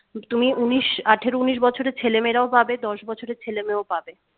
তুমি উনিশ আঠারো উনিশ বছরের ছেলে মেয়েরাও পাবে দশ বছরের ছেলে মেয়েও পাবে